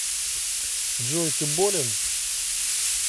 джой ты болен